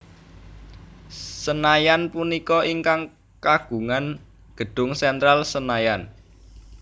Senayan punika ingkang kagungan gedung Sentral Senayan